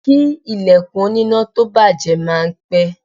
Kí ilẹ̀kùn oníná tó bàjẹ́ máa ń pé.